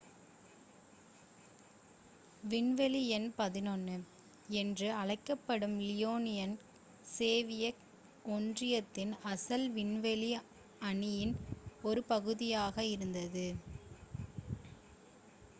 """விண்வெளி எண் 11" என்றும் அழைக்கப்படும் லியோனோவ் சோவியத் ஒன்றியத்தின் அசல் விண்வெளி அணியின் ஒரு பகுதியாக இருந்தார்.